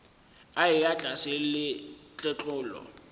a eya tlase le tletlolo